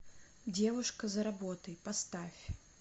девушка за работой поставь